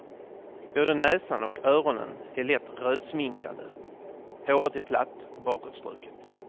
Både näsan och öronen är lätt rödsminkade, håret är platt och bakåtstruket.